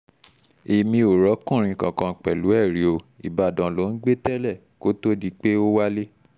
èmi ò ròkunrin kankan pẹ̀lú ẹ̀ rí ọ ìbàdàn lò ń gbé tẹ́lẹ̀ kó tóó di pé ó wálé